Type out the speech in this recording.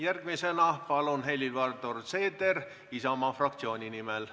Järgmisena Helir-Valdor Seeder Isamaa fraktsiooni nimel.